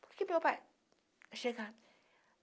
Porque meu pai chegava.